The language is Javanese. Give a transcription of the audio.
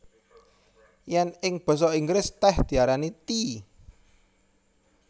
Yèn ing basa Inggris tèh diarani tea